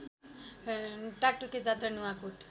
टाकटुके जात्रा नुवाकोट